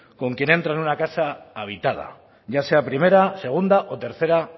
con quien entra en una casa habitada ya sea primera segunda o tercera